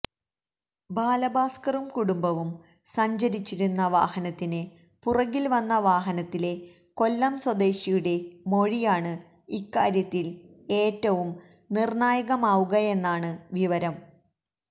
ബാലഭാസ്കറും കുടുംബവും സഞ്ചരിച്ചിരുന്ന വാഹനത്തിന് പുറകിൽ വന്ന വാഹനത്തിലെ കൊല്ലം സ്വദേശിയുടെ മൊഴിയാണ് ഇക്കാര്യത്തിൽ ഏറ്റവും നിർണായകമാവുകയെന്നാണ് വിവരം